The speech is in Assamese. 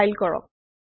কমপাইল কৰক